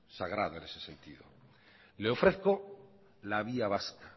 sagrada en ese sentido le ofrezco la vía vasca